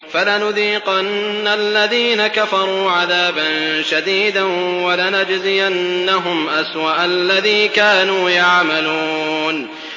فَلَنُذِيقَنَّ الَّذِينَ كَفَرُوا عَذَابًا شَدِيدًا وَلَنَجْزِيَنَّهُمْ أَسْوَأَ الَّذِي كَانُوا يَعْمَلُونَ